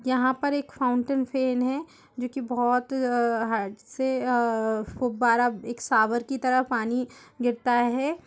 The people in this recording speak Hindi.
यहां पर एक फाउंटेन फेन है जो कि बोहोत अअअ हाड से अअअ फुब्बारा एक शॉवर की तरह पानी गिरता है।